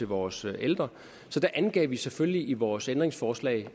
vores ældre så der angav vi selvfølgelig i vores ændringsforslag